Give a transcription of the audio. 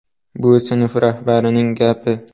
Bu sinf rahbarining gapi.